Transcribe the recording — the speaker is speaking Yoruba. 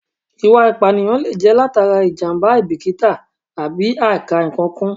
Ìwà ìpànìyàn lè jẹ́ látara ìjàmbá, àìbíkítà àbí àìkà-ǹkan kún